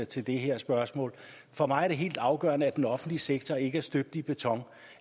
til det her spørgsmål for mig er det helt afgørende at den offentlige sektor ikke er støbt i beton og